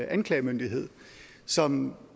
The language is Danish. anklagemyndighed som